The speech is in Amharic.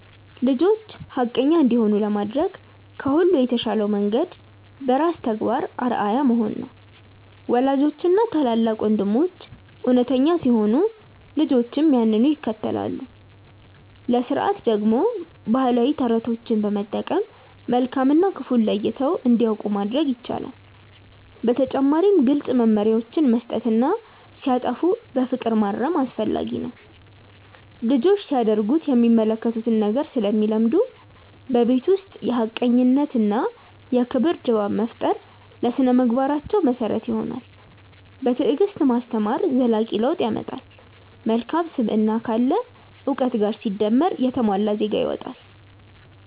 ልጆች ሐቀኛ እንዲሆኑ ለማድረግ ከሁሉ የተሻለው መንገድ በራስ ተግባር አርአያ መሆን ነው። ወላጆችና ታላላቅ ወንድሞች እውነተኛ ሲሆኑ ልጆችም ያንኑ ይከተላሉ። ለሥርዓት ደግሞ ባህላዊ ተረቶችን በመጠቀም መልካም እና ክፉን ለይተው እንዲያውቁ ማድረግ ይቻላል። በተጨማሪም ግልጽ መመሪያዎችን መስጠትና ሲያጠፉ በፍቅር ማረም አስፈላጊ ነው። ልጆች ሲያደርጉት የሚመለከቱትን ነገር ስለሚለምዱ፣ በቤት ውስጥ የሐቀኝነትና የክብር ድባብ መፍጠር ለሥነ-ምግባራቸው መሰረት ይሆናል። በትዕግስት ማስተማር ዘላቂ ለውጥ ያመጣል። መልካም ስብዕና ካለ እውቀት ጋር ሲደመር የተሟላ ዜጋ ይወጣል።